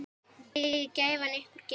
Megi gæfan ykkur geyma.